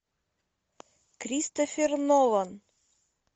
кристофер нолан